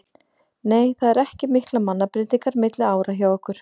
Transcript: Nei það eru ekki miklar mannabreytingar milli ára hjá okkur.